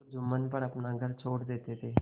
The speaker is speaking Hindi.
तो जुम्मन पर अपना घर छोड़ देते थे